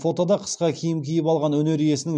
фотода қысқа киім киіп алған өнер иесінің